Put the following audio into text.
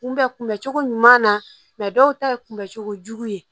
Kunbɛ kunbɛ cogo ɲuman na dɔw ta ye kunbɛcogo jugu ye